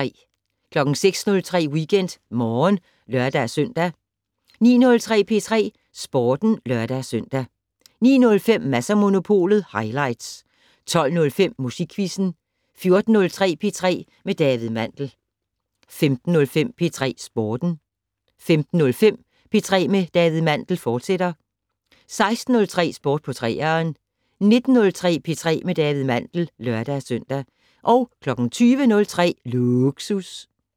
06:03: WeekendMorgen (lør-søn) 09:03: P3 Sporten (lør-søn) 09:05: Mads & Monopolet highlights 12:05: Musikquizzen 14:03: P3 med David Mandel 15:03: P3 Sporten 15:05: P3 med David Mandel, fortsat 16:03: Sport på 3'eren 19:03: P3 med David Mandel (lør-søn) 20:03: Lågsus